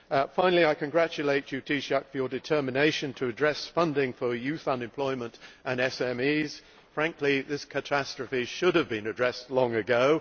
Finally, I congratulate you, Taoiseach, on your determination to address funding for youth unemployment and SMEs. Frankly, this catastrophe should have been addressed long ago.